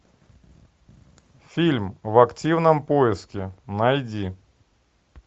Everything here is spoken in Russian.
фильм в активном поиске найди